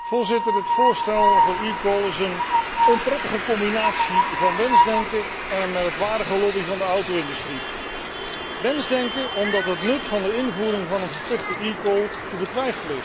Het voorstel voor eCall is een onprettige combinatie van wensdenken en een merkwaardige lobby van de auto industrie. Wensdenken, omdat het nut van de invoering van een verplichte eCall te betwijfelen is.